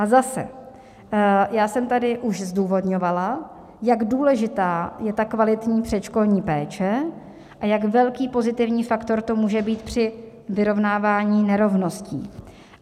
A zase, já jsem tady už zdůvodňovala, jak důležitá je ta kvalitní předškolní péče a jak velký pozitivní faktor to může být při vyrovnávání nerovností.